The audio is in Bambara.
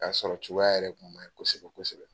Kasɔrɔ cogoya yɛrɛ tun manye kosɛbɛ-kosɛbɛ.